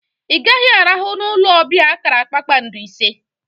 I gaghi arahu na olu obia akara kpakpando ise!